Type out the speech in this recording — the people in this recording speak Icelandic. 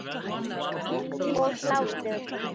Bros og hlátur.